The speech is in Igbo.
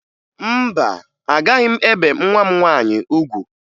Mba, agaghị m ebe nwa m nwaanyị ugwu